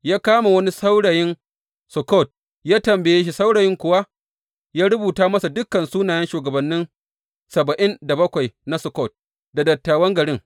Ya kama wani saurayin Sukkot ya tambaye shi, saurayin kuwa ya rubuta masa dukan sunayen shugabanni saba’in da bakwai na Sukkot, da dattawan garin.